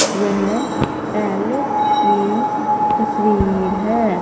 यह पैलेस की तस्वीर है।